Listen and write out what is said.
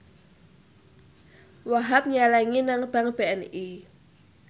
Wahhab nyelengi nang bank BNI